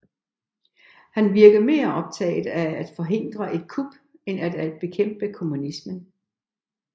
Han virkede mere optaget af at forhindre et kup end af at bekæmpe kommunismen